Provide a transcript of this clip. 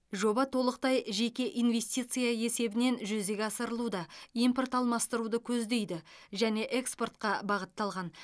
жоба толықтай жеке инвестиция есебінен жүзеге асырылуда импорт алмастыруды көздейді және экспортқа бағытталған